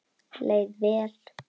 Leið vel.